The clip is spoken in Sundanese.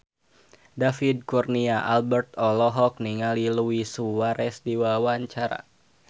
David Kurnia Albert olohok ningali Luis Suarez keur diwawancara